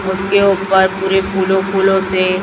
उसके ऊपर पूरे फूलो फूलो से--